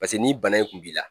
Paseke ni bana in kun b'i la